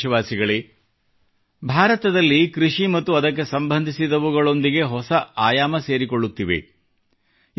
ನನ್ನ ಪ್ರೀತಿಯ ದೇಶವಾಸಿಗಳೇ ಭಾರತದಲ್ಲಿ ಕೃಷಿ ಮತ್ತು ಅದಕ್ಕೆ ಸಂಬಂಧಿಸಿದವುಗಳೊಂದಿಗೆ ಹೊಸ ಆಯಾಮ ಸೇರಿಕೊಳ್ಳುತ್ತಿವೆ